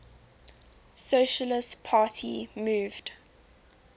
socialist party moved